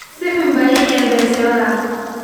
si xun baad ii ceebaysay walaal.